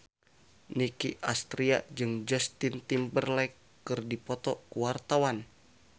Nicky Astria jeung Justin Timberlake keur dipoto ku wartawan